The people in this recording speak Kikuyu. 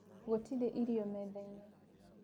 Gũtĩrĩ irio mathaĩnĩ.